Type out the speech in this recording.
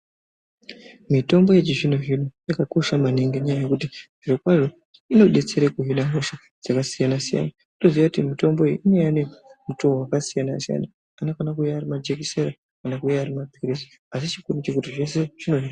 Mitombo yechizvino zvino yakakosha maningi ngenyaya yekuti zvirokwazvo inodetsera kuhina hosha dzakasiyana siyana. Toziva kuti mitombo iyi inouya nemutoo wakasiyana siyana. Anokona kuuya ari majekiseni kana kuuya ari mapirizi asi chikuru ndechekuti zvese zvirozvo